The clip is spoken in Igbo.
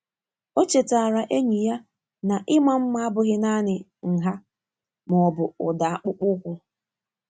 Ọ chetaara enyi ya na ịma mma abụghị naanị nha ma ọ bụ ụda akpụkpọ ahụ.